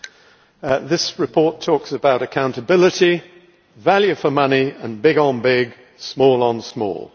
Mr President, this report talks about accountability, value for money and big on big, small on small.